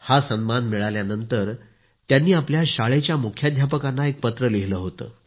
हा सन्मान मिळाल्यानंतर त्यांनी आपल्या शाळेच्या मुख्याध्यापकांना एक पत्र लिहिले होते